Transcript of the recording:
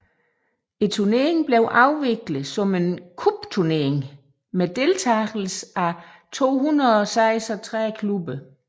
Turneringen blev afviklet som en cupturnering med deltagelse af 236 klubber